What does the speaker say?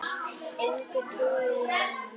Engu trúi ég núna.